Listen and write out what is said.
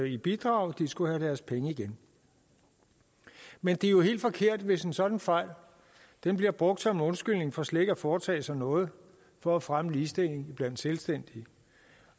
i bidrag skulle have deres penge igen men det er jo helt forkert hvis en sådan fejl bliver brugt som undskyldning for slet ikke at foretage sig noget for at fremme ligestillingen blandt selvstændige